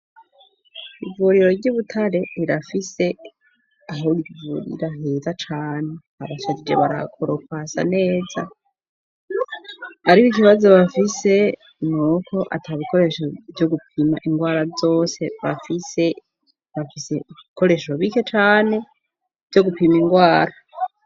Ivurero ryi Butare rirafise aho rivuriraheza cane abasagije barakora ukasa neza, ariko ikibazo bafise nuko ata bikoresho vyo gupima ingwara vyose bafise bafise bikoreshro bike cane vyo gupima indwara.